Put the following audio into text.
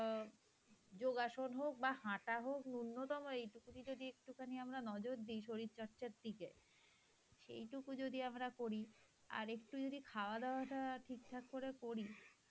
অ্যাঁ যোগাসন হোক বাহঃ হাটা হক ন্যূনতম একটুখানি যদি নজর দি শরীরচর্চার দিকে সেইটুকু যদি আমরা করি আরেকটু যদি খাওয়া-দাওয়া টা অ্যাঁ ঠিক ঠাক করে করি,